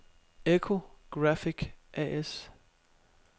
Echo Graphic A/S